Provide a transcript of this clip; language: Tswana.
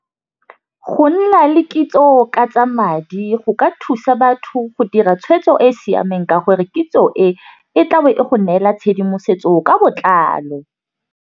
Go nna le kitso ka tsa madi go ka thusa batho go dira tshwetso e e siameng ka gore kitso e, e tla be e go neela tshedimosetso ka botlalo.